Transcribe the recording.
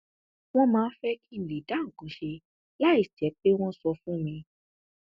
wọn máa ń fẹ kí n lè dá nǹkan ṣe láì jẹ pé wọn sọ fún mi